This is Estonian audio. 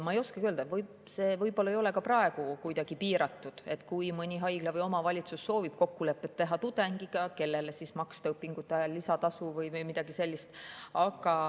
Ma ei oska öelda, see võib-olla ei ole ka praegu kuidagi piiratud, kui mõni haigla või omavalitsus soovib teha kokkulepet tudengiga, kellele maksta õpingute ajal lisatasu või midagi sellist.